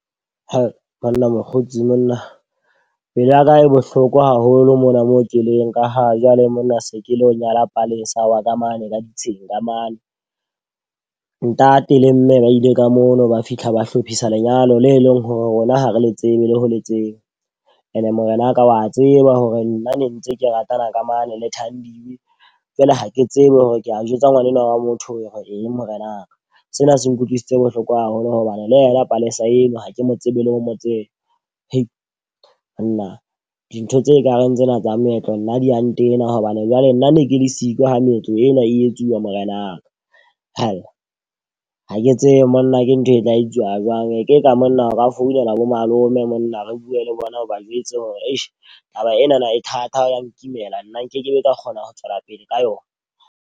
Banna mokgotsi monna. Pelo yaka e bohlokwa haholo mona mo keleng ka ha jwale monna se ke lo nyala Palesa wa ka mane ka ditsheng ka mane. Ntate le mme ba ile ka mono ba fihla ba hlophisa lenyalo le leng hore rona ha re le tsebe le ho le tseba. E ne morenaka wa tseba hore nna ne ntse ke ratana ka mane le Thandiwe. Jwale ha ke tsebe hore ke a jwetsa ngwana enwa wa motho hore eng morenaka. Sena se nkutlwisitse bohloko haholo hobane le yena Palesa eno ha ke mo tsebe le o mo tseba. Monna dintho tse kareng tsena tsa moetlo nna di a ntena. Hobane jwale nna ne ke le siko ha meetlo ena e etsuwa morenaka. Ha ke tsebe monna ke ntho e tla etsuwa jwang. E ke ka monna o ka founela bo malome monna re bue le bona o ba jwetse hore atjhe taba enana e thata ya nkimela nna nkekebe ka kgona ho tswela pele ka yona.